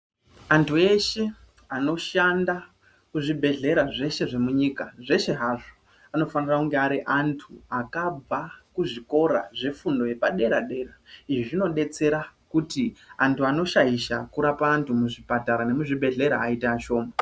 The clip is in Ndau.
Anthu eshe anoshanda muzvibhedhlera zveshe zvemunyika, zveshe hazvo anofanira kunge ari anthu akabva kuzvikora zvefundo yepadera dera. Izvi zvinodetsera kuti anthu anoshaisha kurapa anthu muzvipatara nemuzvibhedhlera aiite ashoma.